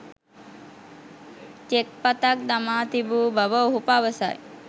check පතක් දමා තිබූ බව ඔහු පවසයි